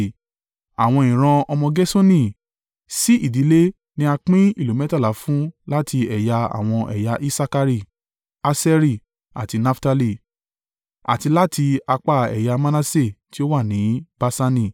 Àwọn ìran ọmọ Gerṣoni, sí ìdílé ni a pín ìlú mẹ́tàlá fún láti ẹ̀yà àwọn ẹ̀yà Isakari, Aṣeri àti Naftali, àti láti apá ẹ̀yà Manase tí ó wà ní Baṣani.